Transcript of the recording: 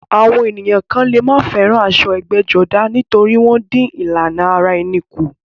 Àwọn ènìyàn kan lè má fẹ́ràn aṣọ ẹgbẹ́jọdá nítorí wọ́n dín ìlànà ara ẹni kù.